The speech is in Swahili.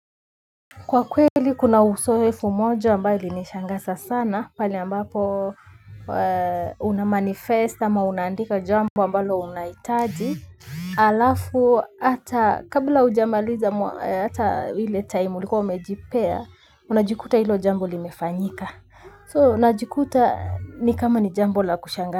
Kwa kweli kuna usoefu moja ambayo ili nishangaza sana pali ambapo unamanifest ama unandika jambo ambayo unaitaji alafu ata kabla ujamaliza ata hile time uliko umejipea unajikuta ilo jambo limefanyika soo unajikuta ni kama ni jambo la kushangasa.